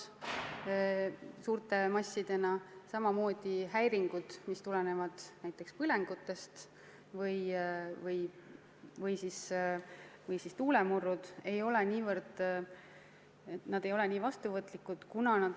Ka ei ole struktuurilt mitmekesine mets nii vastuvõtlik häiringutele, mis tulenevad näiteks põlengutest või tuulemurdudest.